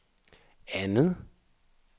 andet